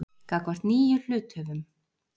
gagnvart nýjum hluthöfum.